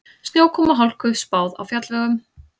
Snjókomu og hálku spáð á fjallvegum